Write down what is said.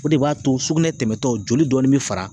O de b'a to sugunɛ tɛmɛtɔ joli dɔɔni bi fara.